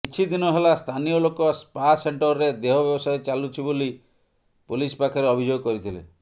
କିଛିଦିନହେଲା ସ୍ଥାନୀୟଲୋକ ସ୍ଫା ସେଣ୍ଟରରେ ଦେହ ବ୍ୟବସାୟ ଚାଲୁଛି ବୋଲି ପୋଲିସ ପାଖରେ ଅଭିଯୋଗ କରିଥିଲେ